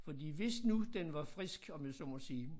Fordi hvis nu den var frisk om jeg så mig sige